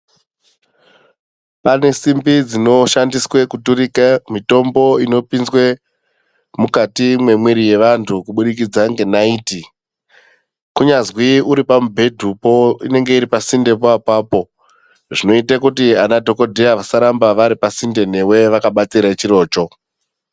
Panesimbi dzinoshandiswe kuturika mitombo inoshandiswe kupinde mukati memwiri yevantu kubudikidza ngenayiti. Kunyazwi uripamubhedupo inenge iripasinde papapo. Zvinoyite kuti ana dhokodheya vasaramba varipa sinde newe vakabatire chirocho.